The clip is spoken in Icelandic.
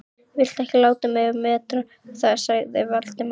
Viltu ekki láta mig um að meta það sagði Valdimar.